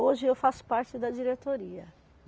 Hoje eu faço parte da diretoria.